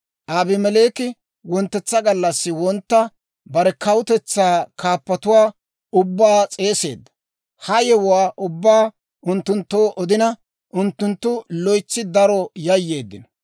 Abimeleeki wonttetsa gallassi wontta bare kawutetsaa kaappatuwaa ubbaa s'eeseedda; ha yewuwaa ubbaa unttunttoo odina, unttunttu loytsi daro yayyeeddino.